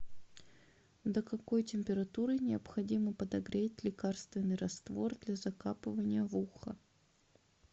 до какой температуры необходимо подогреть лекарственный раствор для закапывания в ухо